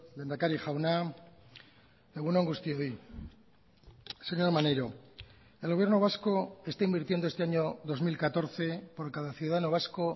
lehendakari jauna egun on guztioi señor maneiro el gobierno vasco está invirtiendo este año dos mil catorce por cada ciudadano vasco